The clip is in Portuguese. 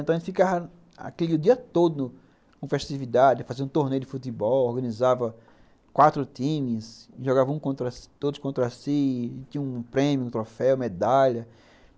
Então, a gente ficava o dia todo com festividade, fazia um torneio de futebol, organizava quatro times, jogava todos contra si, tinha um prêmio, um troféu, medalha.